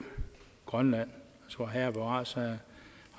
grønland vor herre bevares har